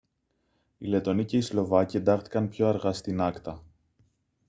οι λετονοί και οι σλοβάκοι εντάχθηκαν πιο αργά στην acta